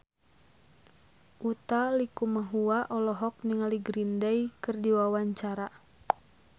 Utha Likumahua olohok ningali Green Day keur diwawancara